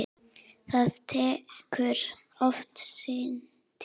Það tekur oft sinn tíma.